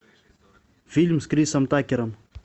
фильм с крисом такером